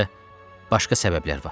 Həm də başqa səbəblər var.